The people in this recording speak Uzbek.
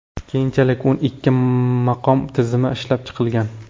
Keyinchalik o‘n ikki maqom tizimi ishlab chiqilgan.